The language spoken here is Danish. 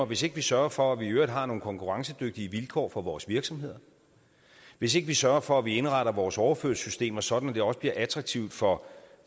hvis ikke vi sørger for at vi i øvrigt har nogle konkurrencedygtige vilkår for vores virksomheder hvis ikke vi sørger for at vi indretter vores overførselssystemer sådan at det også bliver attraktivt for